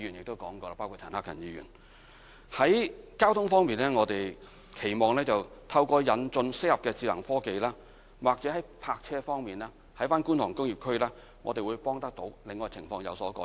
在交通方面，我們期望透過引進適合的智能科技，或者可在泊車方面，幫助到觀塘工業區，令情況有所改善。